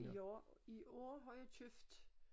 I år i år har jeg købt